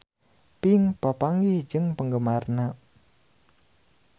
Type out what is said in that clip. Pink papanggih jeung penggemarna